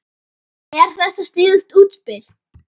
Er þetta sniðugt útspil?